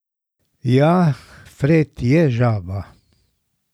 Ja, Fred je žaba.